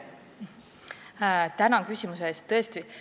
Tänan küsimuse eest!